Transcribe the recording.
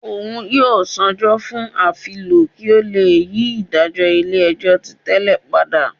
Òun yóò ṣaajọ fún afilọ ki o le yi idajọ ilé-ẹjọ́ tí tẹlè pada.